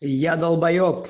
я долбаеб